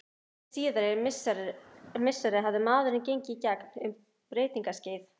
Hin síðari misseri hafði maðurinn gengið í gegn um breytingaskeið.